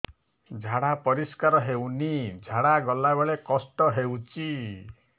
ଝାଡା ପରିସ୍କାର ହେଉନି ଝାଡ଼ା ଗଲା ବେଳେ କଷ୍ଟ ହେଉଚି